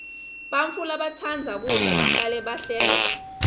bantfu labatsandza kudla bahlale bahleka